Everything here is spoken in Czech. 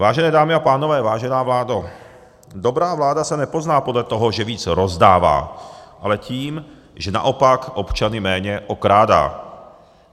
Vážené dámy a pánové, vážená vládo, dobrá vláda se nepozná podle toho, že víc rozdává, ale tím, že naopak občany méně okrádá.